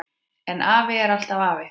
En afi er alltaf afi.